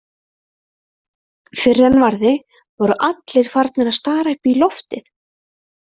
Fyrr en varði voru allir farnir að stara upp í loftið.